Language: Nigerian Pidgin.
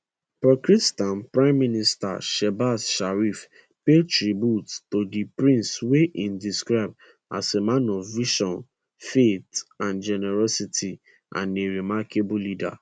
pakistan prime minister shehbaz sharif pay tribute to di prince wey e describe as a man of vision faith and generosity and a remarkable leader